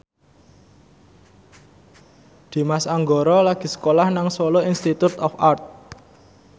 Dimas Anggara lagi sekolah nang Solo Institute of Art